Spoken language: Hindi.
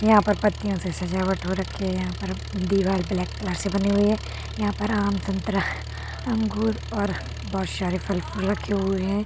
यहाँ पर पत्तियों से सजावट हो रक्खी है। यहाँ पर दीवाल ब्लैक कलर से बनी हुई है। यहाँ पर आम संतरा अंगूर और बहोत सारे फल-फूल रखे हुए हैं।